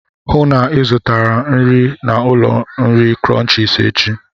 Hụụ na Ị zụtara m nri na ụlọ nri Crunchies échi!